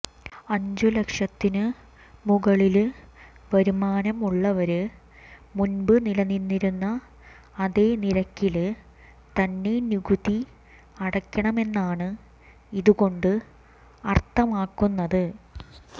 അഞ്ചു ലക്ഷത്തിനു മുകളില് വരുമാനം ഉള്ളവര് മുന്പ് നിലനിന്നിരുന്ന അതേ നിരക്കില് തന്നെ നികുതി അടയ്ക്കണമെന്നാണ് ഇതു കൊണ്ടു അര്ത്ഥമാക്കുന്നത്